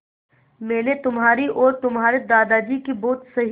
मैंने तुम्हारी और तुम्हारे दादाजी की बहुत सही